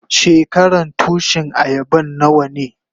Shekaran Tushin ayaban nawa ne?